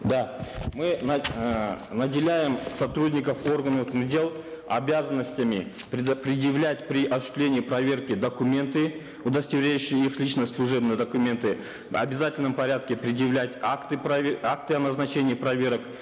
да мы эээ наделяем сотрудников органов внутренних дел обязанностями предъявлять при осуществлении проверки документы удостоверяющие их личность служебные документы в обязательном порядке предъявлять акты акты о назначении проверок